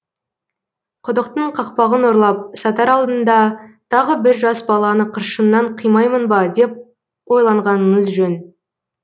құдықтың қақпағын ұрлап сатар алдында тағы бір жас баланы қыршыннан қимаймын ба деп ойланғаныңыз жөн